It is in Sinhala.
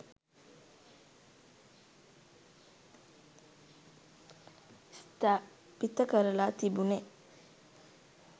ස්ථාපිත කරල තිබුණෙ.